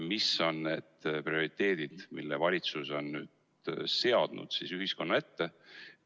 Mis on need prioriteedid, mille valitsus on seadnud ühiskonna ette?